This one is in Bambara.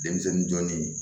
Denmisɛnnin jɔnnin